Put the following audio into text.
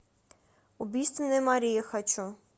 убийственная мария хочу